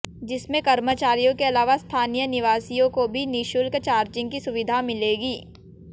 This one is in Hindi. जिसमें कर्मचारियों के अलावा स्थानीय निवासियों को भी निःशुल्क चार्जिंग की सुवधिा मिलेगी